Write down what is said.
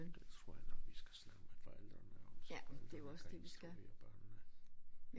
Det tror jeg nu vi skal snakke med forældrene om så forældrene kan instruere børnene